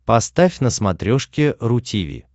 поставь на смотрешке ру ти ви